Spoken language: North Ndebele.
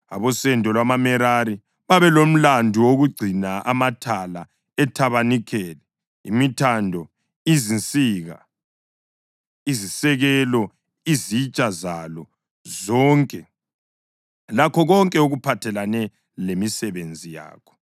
Abosendo lwamaMerari babelomlandu wokugcina amathala ethabanikeli, imithando, izinsika, izisekelo, izitsha zalo zonke lakho konke okuphathelane lemisebenzi yakho,